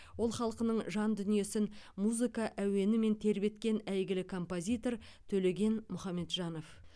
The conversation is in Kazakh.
ол халқының жан дүниесін музыка әуенімен тербеткен әйгілі композитор төлеген мұхамеджанов